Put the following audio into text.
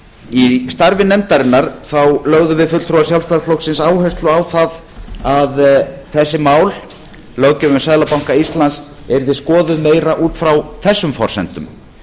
í starfi nefndarinnar lögðum við fulltrúar sjálfstæðisflokksins áherslu á það að þessi mál löggjöf um seðlabanka íslands yrðu skoðuð meira út frá þessum forsendum